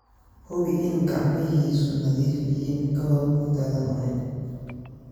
Hubi in gacmihiisu nadiif yihiin ka hor intaadan cunin.